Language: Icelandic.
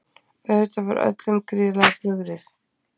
Auðvitað var öllum gríðarlega brugðið